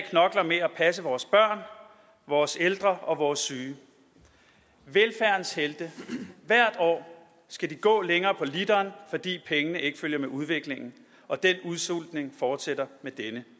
passe vores børn vores ældre og vores syge velfærdens helte hvert år skal de gå længere på literen fordi pengene ikke følger med udviklingen og den udsultning fortsætter med denne